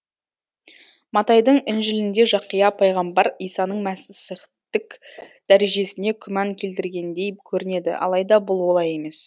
матайдың інжілінде жақия пайғамбар исаның мәсіхтік дәрежесіне күмән келтіргендей көрінеді алайда бұл олай емес